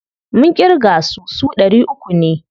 Mun ƙirga su, su ɗari uku ne.